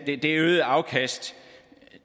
det øgede afkast